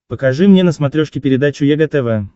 покажи мне на смотрешке передачу егэ тв